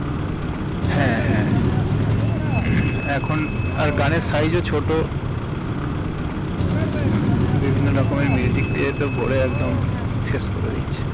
হ্যাঁ হ্যাঁ এখন গানের size ও ছোট বিভিন্ন রকমের music দিয়ে ভরে একদম শেষ করে দিচ্ছে